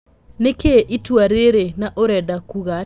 Nĩ kĩ ĩ itua rĩ rĩ , na ũrenda Kuga atĩ a?